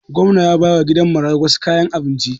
Gwamnan ya bawa gidan marayun wasu kayan abinci